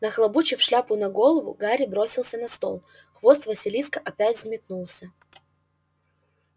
нахлобучив шляпу на голову гарри бросился на стол хвост василиска опять взметнулся